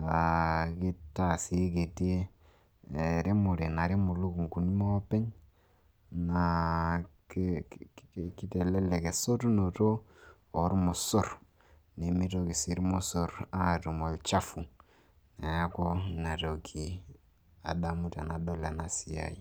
naa kitaa sii kiti ena remore o lukung'uni maopeny naa kitelelek esotunoto ormosor. Nemitoki naa irmosor atum olchafu neeku inatoki adamu enadol ena siai.